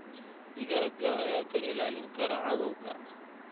Digaagga ayaa ka ilaalin kara cadawga.